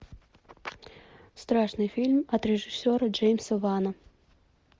страшный фильм от режиссера джеймса вана